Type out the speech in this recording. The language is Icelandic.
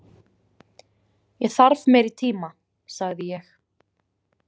Ég þarf meiri tíma, sagði ég.